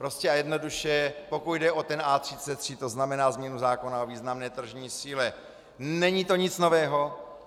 Prostě a jednoduše, pokud jde o A33, to znamená změnu zákona o významné tržní síle, není to nic nového.